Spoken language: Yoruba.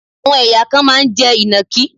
Àwọn ẹ̀yà kan máa ń jẹ Ìnàkí.